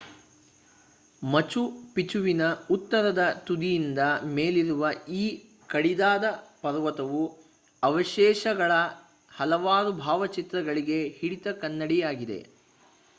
ಮಚು ಪಿಚುವಿನ ಉತ್ತರದ ತುದಿಯಿಂದ ಮೇಲಿರುವ ಈ ಕಡಿದಾದ ಪರ್ವತವು ಅವಶೇಷಗಳ ಹಲವಾರು ಭಾವಚಿತ್ರಗಳಿಗೆ ಹಿಡಿದ ಕನ್ನಡಿಯಾಗಿದೆ